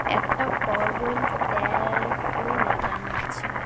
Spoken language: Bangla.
একটা কলগল তেরও লাগানো আছে।